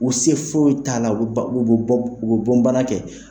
U se foyi t'a la u bɛ bɔn. bana kɛ